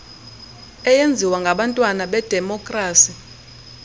eyenziwa ngabantwana bedemokrasi